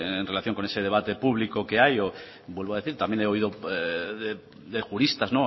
en relación con ese debate público que hay o vuelvo a decir también he oído de juristas